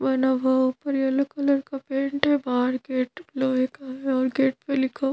वना बहु पर येलो कलर का पेंट है बाहर गेट भी लोहे का है और गेट पे लिखा --